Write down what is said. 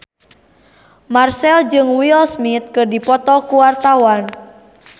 Marchell jeung Will Smith keur dipoto ku wartawan